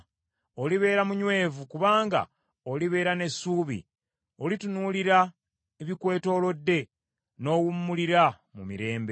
Olibeera munywevu, kubanga olibeera n’essuubi; olitunuulira ebikwetooloodde n’owummulira mu mirembe.